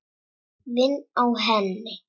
Vinn á henni.